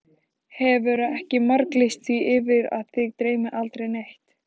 Hefurðu ekki marglýst því yfir að þig dreymi aldrei neitt?